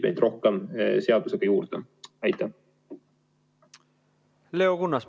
Leo Kunnas, palun!